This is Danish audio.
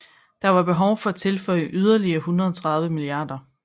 Der var behov for at tilføre yderligere 130 mia